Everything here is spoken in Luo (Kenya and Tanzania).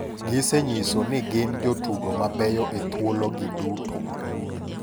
Gise nyiso ni gin jotugo mabeyo e thuolo gi duto.